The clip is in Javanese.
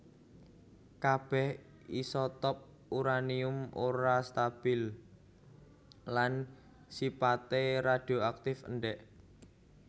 Kabèh isotop uranium ora stabil lan sipaté radioaktif endèk